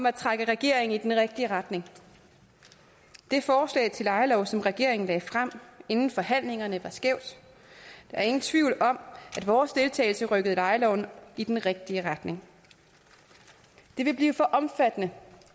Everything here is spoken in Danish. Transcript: at trække regeringen i den rigtige retning det forslag til lejelov som regeringen lagde frem inden forhandlingerne var skævt der er ingen tvivl om at vores deltagelse rykkede lejeloven i den rigtige retning det ville blive for omfattende